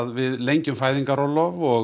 við lengjum fæðingarorlof og